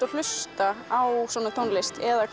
að hlusta á svona tónlist eða